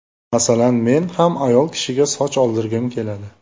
Masalan, men ham ayol kishiga soch oldirgim keladi.